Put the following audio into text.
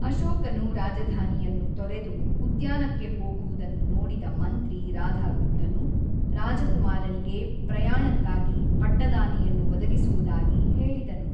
ಅಶೋಕನು ರಾಜಧಾನಿಯನ್ನು ತೊರೆದು ಉದ್ಯಾನಕ್ಕೆ ಹೋಗುವುದನ್ನು ನೋಡಿದ ಮಂತ್ರಿ ರಾಧಾಗುಪ್ತನು, ರಾಜಕುಮಾರನಿಗೆ ಪ್ರಯಾಣಕ್ಕಾಗಿ ಪಟ್ಟದಾನೆಯನ್ನು ಒದಗಿಸುವುದಾಗಿ ಹೇಳಿದನು.